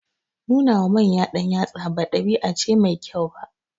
Nuna wa manya ɗanyatsa ba ɗabi'a ce mai kyau ba.